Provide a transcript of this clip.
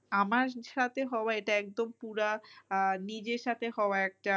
আমার সাথে হওয়া এটা একদম পুরা নিজের সাথে হওয়া একটা